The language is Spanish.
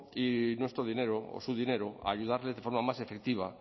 y nuestro dinero o su dinero a ayudarles de forma más efectiva